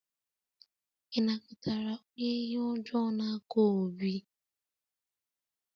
Ị nakọtara onye ihe ọjọọ n'aka Obi?